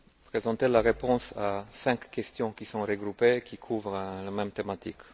présenter la réponse à cinq questions qui sont regroupées, qui couvrent la même thématique.